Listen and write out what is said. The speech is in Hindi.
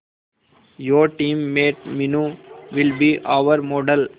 your teammate Meenu will be our model